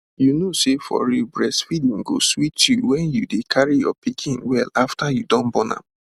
you know say for real breastfeeding go sweet you wen you dey carry your pikin well afta you don born am